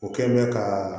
O kɛ bɛ ka